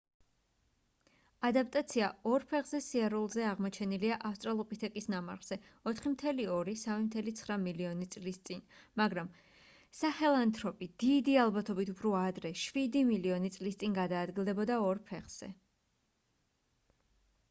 ადაპტაცია ორ ფეხზე სიარულზე აღმოჩენილია ავსტრალოპითეკის ნამარხზე 4.2-3.9 მილიონი წლის წინ მაგრამ საჰელანთროპი დიდი ალბათობით უფრო ადრე შვიდი მილიონი წლის წინ გადაადგილდებოდა ორ ფეხზე